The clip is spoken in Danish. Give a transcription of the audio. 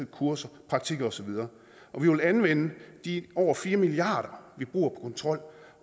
kurser praktikker og så videre og vi vil anvende de over fire milliard kr vi bruger på kontrol